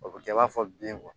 O bɛ kɛ i b'a fɔ bin kɔ